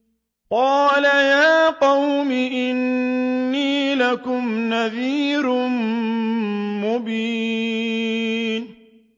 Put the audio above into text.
قَالَ يَا قَوْمِ إِنِّي لَكُمْ نَذِيرٌ مُّبِينٌ